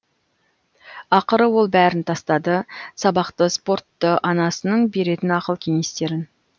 ақыры ол бәрін тастады сабақты спортты анасының беретін ақыл кенестерін